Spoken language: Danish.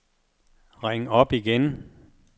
ring op igen